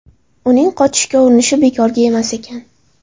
Uning qochishga urinishi bekorga emas ekan.